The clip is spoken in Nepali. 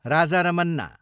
राजा रमन्ना